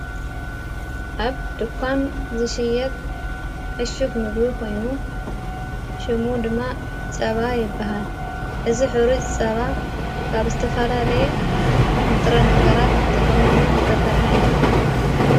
ኣብ ድኳን ዝሽየጥ ዕሹግ ምግቢ ኾይኑ ሹሙ ድማ ጸባ የብሃል እዝ ኅሩ ጸባ ካብ ዝተፋላ ለየ ንጥረ ነገራት ተቐሚሙ ዘተሠርሐ እዮ::